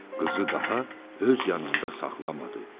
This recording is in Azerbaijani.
Qızı daha öz yanında saxlamadı.